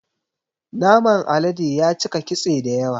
Naman alade yacika kitse dayawa